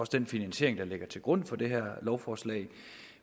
den finansiering der ligger til grund for det her lovforslag